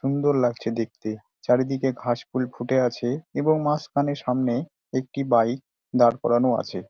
সুন্দর লাগছে দেখতে। চারিদিকে ঘাসফুল ফুটে আছে এবং মাঝখানে সামনে একটি বাইক দাঁড় করানো আছে।